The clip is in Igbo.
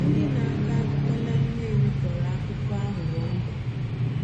Ndị na-akọ akụkọ na Nnewi kọrọ akụkọ aghụghọ mbe.